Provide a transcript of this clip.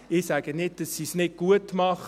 Ich sage nicht, dass sie es nicht gut machen.